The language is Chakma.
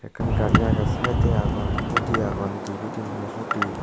ekkan gari ageh side de agon hudi agon dibeh thinnu hudi.